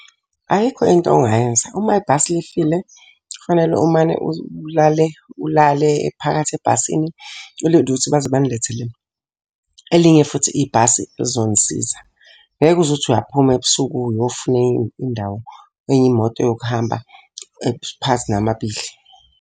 Ayikho into ongayenza, uma ibhasi lifile, kufanele umane ulale, ulale phakathi ebhasini, ulinde ukuthi baze banilethele elinye futhi ibhasi elizonisiza. Ngeke uze uthi uyaphuma ebusuku uyofuna enye indawo, enye imoto yokuhamba phakathi namabili.